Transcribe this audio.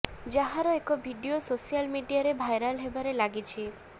ଯାହାର ଏକ video social ମିଡିଆରେ ଭାଇରାଲ୍ ହେବାରେ ଲାଗିଛି